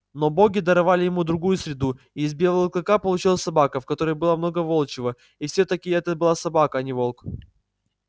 но боги даровали ему другую среду и из белого клыка получилась собака в которой было много волчьего и все таки это была собака а не волк